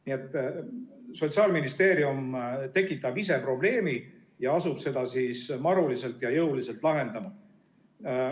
Nii et Sotsiaalministeerium tekitab ise probleemi ja asub seda siis maruliselt ja jõuliselt lahendama.